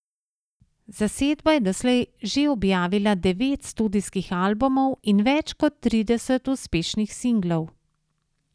Zasedba je doslej že objavila devet studijskih albumov in več kot trideset uspešnih singlov.